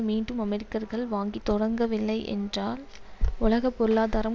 மீண்டும் அமெரிக்கர்கள் வாங்க தொடங்கவில்லை என்றால் உலக பொருளாதாரம்